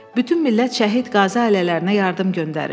Bütün millət şəhid qazi ailələrinə yardım göndərir.